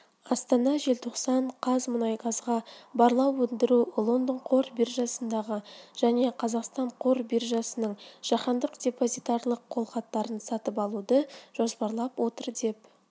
астана желтоқсан қаз қазмұнайгаз барлау өндіру лондон қор биржасындағы және қазақстан қор биржасының жаһандық депозитарлық қолхаттарын сатып алуды жоспарлап отыр деп